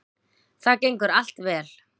Það gengur allt vel